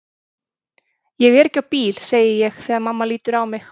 Ég er ekki á bíl, segi ég þegar mamma lítur á mig.